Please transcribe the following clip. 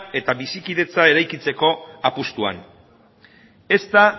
eta bizikidetza eraikitzeko apustuan ez da